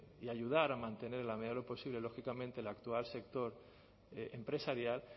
y ayudar a mantener en la medida de lo posible lógicamente el actual sector empresarial